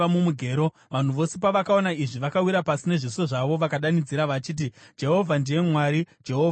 Vanhu vose pavakaona izvi, vakawira pasi nezviso zvavo, vakadanidzira vachiti, “Jehovha ndiye Mwari! Jehovha ndiye Mwari!”